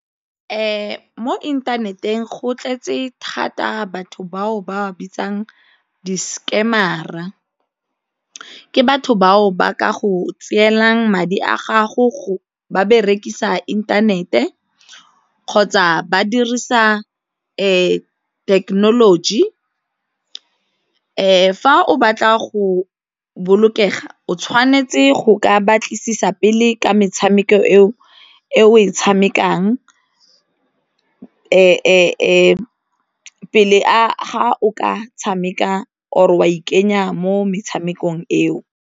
Mo inthaneteng go tletse thata batho bao ba bitsang di-scammer-a, ke batho bao ba ka go tseelang madi a gago ba berekisa inthanete kgotsa ba dirisa thekenoloji. Fa o batla go bolokega o tshwanetse go ka batlisisa pele ka tshameko eo e o e tshamekang pele ga o ka tshameka or o a ikanya mo metshamekong eo.